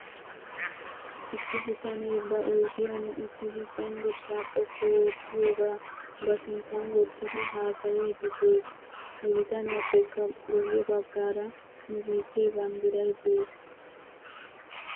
Issi bitanee ba oydiyan uttidi cengursaa xoqqu oottiyaagaa ba sinttan wottidi haasayiiddi des. He bitaniyaappekka guwwe bagaara nu biittee banddiray de'es.